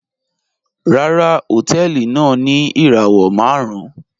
Ràrà, họ̀tẹ̀ẹlì náà ni irawọ màrùn